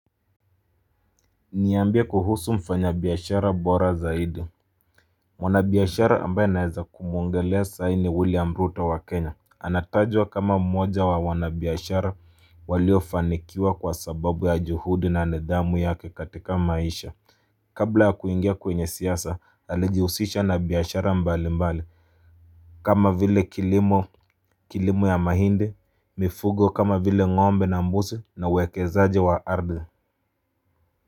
Niambie kuhusu mfanya biashara Bora Zaidi mwanabiashara ambaye naeza kumuongelea sahii ni William Ruto wa Kenya. Anatajwa kama mmoja wa wanabiashara walio fanikiwa kwa sababu ya juhudi na nidhamu yake katika maisha. Kabla ya kuingia kwenye siasa alijihusisha na biashara mbali mbali. Kama vile kilimo ya mahindi mifugo kama vile ngombe na mbuzi na uwekezaji wa ardhi.